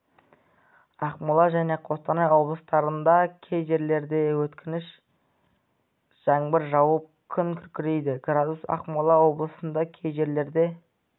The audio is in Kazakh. ақмола және қостанай облыстарында кей жерлерде өткінші жаңбыр жауып күн күркірейді градус ақмола облысында кей жерлерде